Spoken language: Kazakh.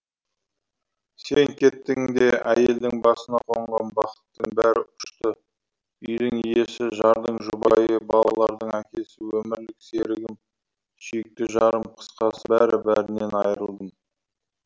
сен кеттің де әйелдің басына қонған бақыттың бәрі ұшты үйдің иесі жардың жұбайы балалардың әкесі өмірлік серігім сүйікті жарым қысқасы бәрі бәрінен айырылдым